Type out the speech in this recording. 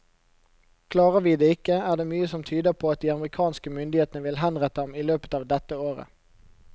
Klarer vi det ikke, er det mye som tyder på at de amerikanske myndighetene vil henrette ham i løpet av dette året.